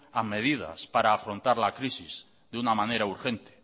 a medidas para afrontar la crisis de una manera urgente